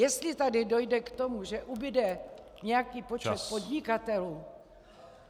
Jestli tady dojde k tomu, že ubude nějaký počet podnikatelů...